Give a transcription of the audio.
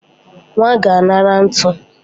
Nwa ga-anara ntu